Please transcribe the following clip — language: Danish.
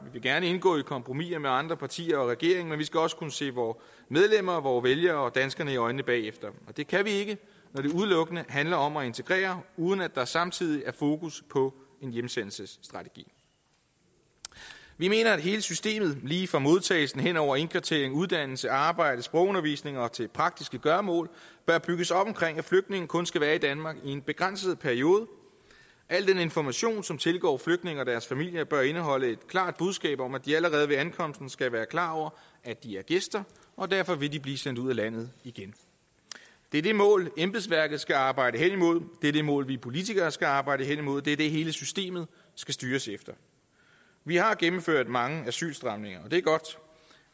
vil gerne indgå i kompromiser med andre partier og regeringen men vi skal også kunne se vore medlemmer og vore vælgere og danskerne i øjnene bagefter det kan vi ikke når det udelukkende handler om at integrere uden at der samtidig er fokus på en hjemsendelsesstrategi vi mener at hele systemet lige fra modtagelse hen over indkvartering uddannelse arbejde sprogundervisning og til praktiske gøremål bør bygges op omkring at flygtninge kun skal være i danmark i en begrænset periode al den information som tilgår flygtninge og deres familier bør indeholde et klart budskab om at de allerede ved ankomsten skal være klar over at de er gæster og derfor vil de blive sendt ud af landet igen det er det mål embedsværket skal arbejde hen imod det er det mål vi politikere skal arbejde hen imod det er det hele systemet skal styres efter vi har gennemført mange asylstramninger og det er godt